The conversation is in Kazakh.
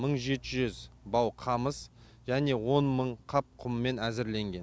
мың жеті жүз бау қамыс және он мың қап құммен әзірленген